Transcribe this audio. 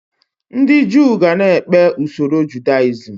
Ndị Jew ga-na ekpe usoro Judaism